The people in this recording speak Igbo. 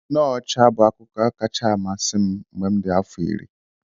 Snow ọcha bụ akụkọ kacha amasị m mgbe m dị afọ iri.